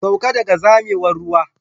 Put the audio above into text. Sauka daga zamewar ruwa.